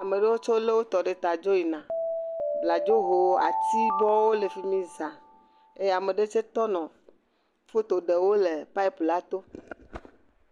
Ame aɖewo tsɛ lé wotɔ ɖe ta dzo yina. Bladzowo, atibɔwo le fi mi zã eye ame aɖe tsɛ to le foto ɖem wo le papi la to.